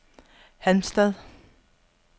Halmstad